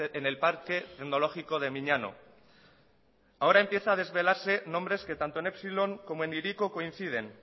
en el parque tecnológico de miñano ahora empieza a desvelarse nombres que en tanto epsilon como el hiriko coinciden